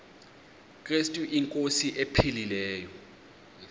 krestu inkosi ephilileyo